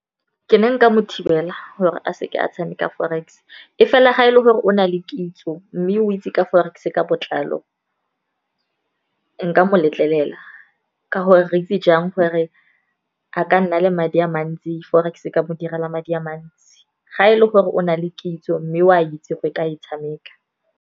Ke ne nka mo thibela gore a seke a tshameka forex. E fela ga e le gore o na le kitso mme o itse ka forex, ka botlalo nka mo letlelela. Ka gore re itse jang gore a ka nna le madi a mantsi, Forex e ka mo direla madi a mantsi. Ga e le gore o na le kitso mme o a itse go ka e tshameka.